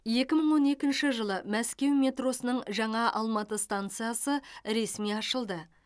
екі мың он екінші жылы мәскеу метросының жаңа алматы стансасы ресми ашылды